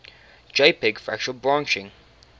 jpg fractal branching